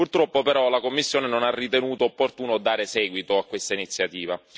Purtroppo però la Commissione non ha ritenuto opportuno dare seguito a questa iniziativa.